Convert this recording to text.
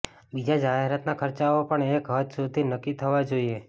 બીજા જાહેરાતના ખર્ચાઓ પણ એક હદ સુધી નક્કી થવા જોઇએ